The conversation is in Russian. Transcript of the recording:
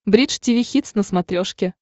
бридж тиви хитс на смотрешке